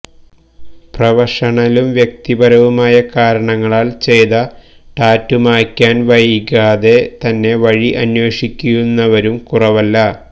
പ്രഫഷനലും വ്യക്തിപരവും ആയ കാരണങ്ങളാൽ ചെയ്ത ടാറ്റു മായ്ക്കാൻ വൈകാതെ തന്നെ വഴി അന്വേഷിക്കുന്നവരും കുറവല്ല